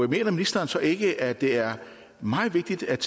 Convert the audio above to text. mener ministeren så ikke at det er meget vigtigt at